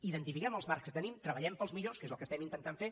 identifiquem els marcs que tenim treballem pels millors que és el que intentem fer